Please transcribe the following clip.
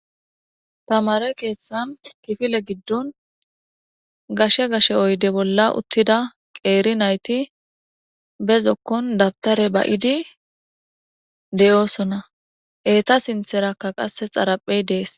Tamare keeththan kifile giddon gashe gashe oyde bolla uttida qeeri nayti be zokkon dabtare ba'idi de'oosona eeta sintherakka qasse xaraphey dees.